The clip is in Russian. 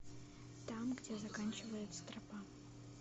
там где заканчивается тропа